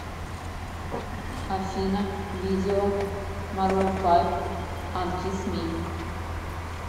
афина видео марун файв анкисс ми